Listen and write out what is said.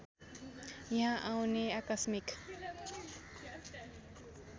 यहाँ आउने आकस्मिक